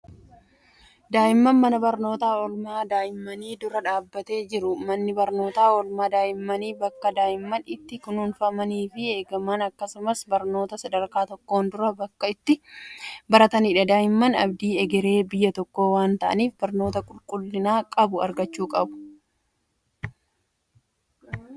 Daa'ima mana barnootaa oolmaa daa'immanii dura dhaabbatee jiru. Manni barnootaa oolmaa daa'immanii bakka daa'imman itti kunuunfamanii fi eegaman akkasumas barnoota sadarkaa tokkoon duraa bakka itti baratanidha. Daa'imman abdii egeree biyya tokkoo waan ta'aniif barnoota qulqullina qabu argachuu qabu.